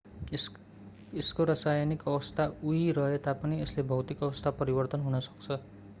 यसको रासायनिक अवस्था उही रहे तापनि यसको भौतिक अवस्था परिवर्तन हुन सक्छ